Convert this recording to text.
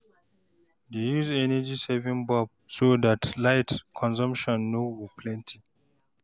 dey use energy saving bulb so dat light consumption no go plenty